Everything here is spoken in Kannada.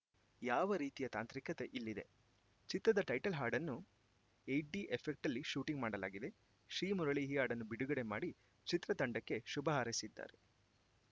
ಯಾವ ರೀತಿಯ ತಾಂತ್ರಿಕತೆ ಇಲ್ಲಿದೆ ಚಿತ್ರದ ಟೈಟಲ್‌ ಹಾಡನ್ನು ಹೆಟ್ಟಿ ಎಫೆಕ್ಟ್ನಲ್ಲಿ ಶೂಟಿಂಗ್‌ ಮಾಡಲಾಗಿದೆ ಶ್ರೀಮುರಳಿ ಈ ಹಾಡನ್ನು ಬಿಡುಗಡೆ ಮಾಡಿ ಚಿತ್ರತಂಡಕ್ಕೆ ಶುಭ ಹಾರೈಸಿದ್ದಾರೆ